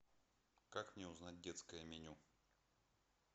как мне узнать детское меню